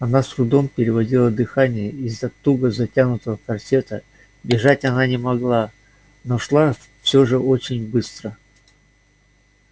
она с трудом переводила дыхание из-за туго затянутого корсета бежать она не могла но шла всё же очень быстро